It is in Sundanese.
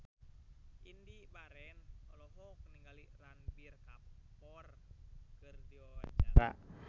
Indy Barens olohok ningali Ranbir Kapoor keur diwawancara